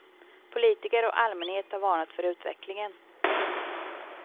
Politiker och allmänhet har varnat för utvecklingen.